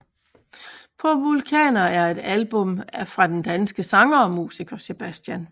På vulkaner er et album fra den danske sanger og musiker Sebastian